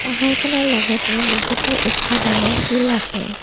পাহাৰখনৰ লগতে বহুতো ওখ ডাঙৰ শিল আছে।